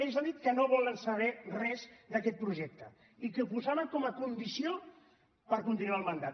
ells han dit que no volen saber res d’aquest projecte i que ho posaven com a condició per continuar el mandat